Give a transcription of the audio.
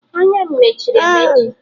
Anya m mechiri emechi